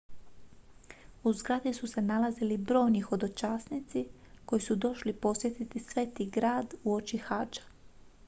u zgradi su se nalazili brojni hodočasnici koji su došli posjetiti sveti grad uoči hadža